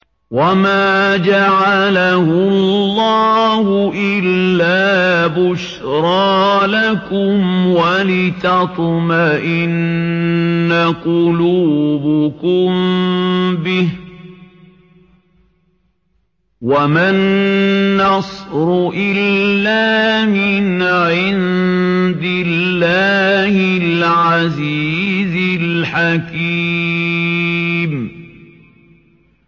وَمَا جَعَلَهُ اللَّهُ إِلَّا بُشْرَىٰ لَكُمْ وَلِتَطْمَئِنَّ قُلُوبُكُم بِهِ ۗ وَمَا النَّصْرُ إِلَّا مِنْ عِندِ اللَّهِ الْعَزِيزِ الْحَكِيمِ